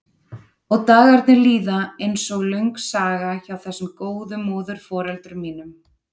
Og dagarnir líða einsog löng saga hjá þessum góðu móðurforeldrum mínum.